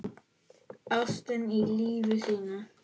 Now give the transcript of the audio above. Ástina í lífi sínu.